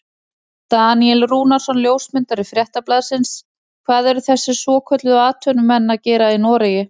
Daníel Rúnarsson ljósmyndari Fréttablaðsins: Hvað eru þessir svokölluðu atvinnumenn að gera í Noregi?